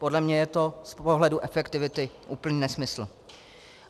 Podle mě je to z pohledu efektivity úplný nesmysl.